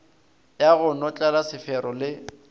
ya go notlela sefero le